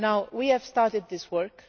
We have started this work.